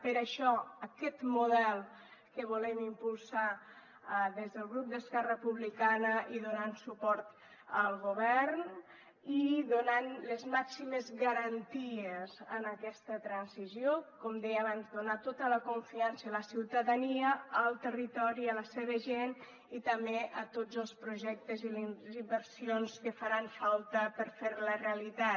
per això aquest model que volem impulsar des del grup d’esquerra republicana i donant suport al govern i donant les màximes garanties en aquesta transició com deia abans donar tota la confiança a la ciutadania al territori a la seva gent i també a tots els projectes i les inversions que faran falta per fer la realitat